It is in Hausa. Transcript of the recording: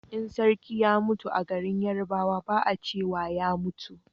in sarki ya mutu a garin yarbawa ba a cewa ya mutu